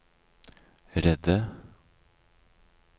redde